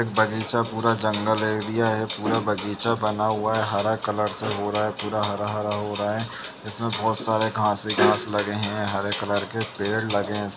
बगीचा पूरा जंगल एरिया है। पूरा बगीचा बना हुआ है। हरा कलर से हो रहा है। पूरा हरा-हरा हो रहा है। इसमें बोहोत सारे घास ही घास लगे हैं। हरे कलर के पेड़ लगे हैं।